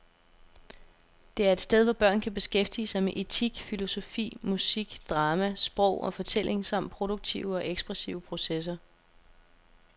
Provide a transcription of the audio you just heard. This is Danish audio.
Det er et sted, hvor børn kan beskæftige sig med etik, filosofi, musik, drama, sprog og fortælling samt produktive og ekspressive processer.